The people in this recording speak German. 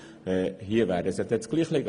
Hier wäre es das Gleiche.